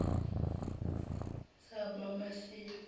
samamasayi